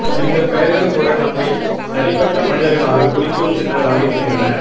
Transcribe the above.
எங்கள் பெயர்கள் கூட நம்மை தனிப்பட்ட மனிதர்களாகக் குறிக்கும் சின்னங்களாக இருக்கின்றன